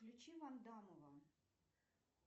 включи вандамова